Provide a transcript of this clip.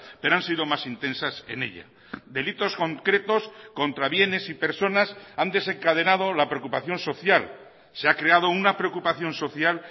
pero han sido más intensas en ella delitos concretos contra bienes y personas han desencadenado la preocupación social se ha creado una preocupación social